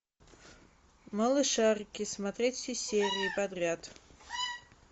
малышарики смотреть все серии подряд